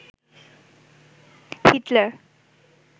Hitler